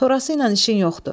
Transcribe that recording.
Sonrası ilə işin yoxdur.